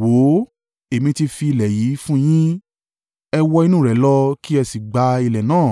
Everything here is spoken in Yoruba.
Wò ó, èmi tí fi ilẹ̀ yí fún un yín, ẹ wọ inú rẹ̀ lọ kí ẹ sì gba ilẹ̀ náà